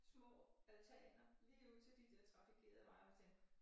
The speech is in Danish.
Små altaner lige ud til de der trafikerede veje og tænker